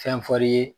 Fɛn fɔr'i ye